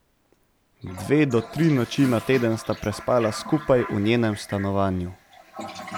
Dve do tri noči na teden sta prespala skupaj v njenem stanovanju.